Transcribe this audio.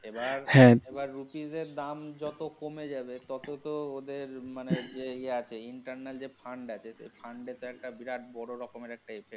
এবার rupees এর দাম যত কমে যাবে ততো তো ওদের মানে যে ইয়ে আছে internal যে fund আছে সেই fund এ একটা বিরাট বড় রকমের একটা effect.